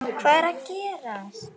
HVAÐ ER AÐ GERAST??